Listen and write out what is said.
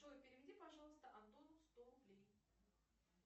джой переведи пожалуйста антону сто рублей